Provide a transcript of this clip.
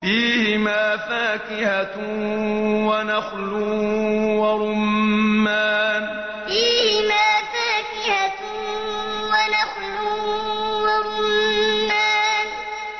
فِيهِمَا فَاكِهَةٌ وَنَخْلٌ وَرُمَّانٌ فِيهِمَا فَاكِهَةٌ وَنَخْلٌ وَرُمَّانٌ